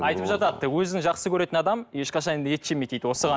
айтып жатады өзін жақсы көрген адам ешқашан да ет жемейді дейді осыған